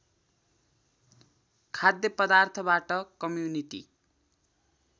खाद्य पदार्थबाट कम्युनिटी